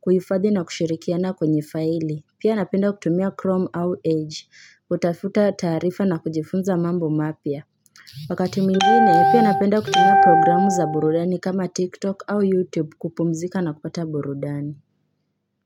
kuhifadhi na kushirikiana kwenye faili, pia napenda kutumia chrome au edge, kutafuta taarifa na kujifunza mambo mapya. Wakati mwingine, pia napenda kutumia programu za burudani kama TikTok au YouTube kupumzika na kupata burudani.